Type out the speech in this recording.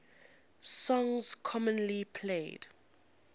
songs commonly played